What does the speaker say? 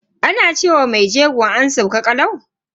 Ana ce wa mai jego "an sauka kalau".